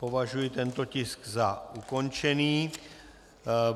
Považuji tento tisk za ukončený.